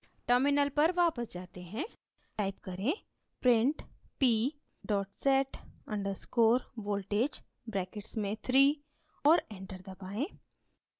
terminal पर वापस जाते हैं type करें: print p set _ voltage brackets में 3 और enter दबाएँ